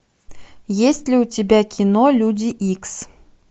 есть ли у тебя кино люди икс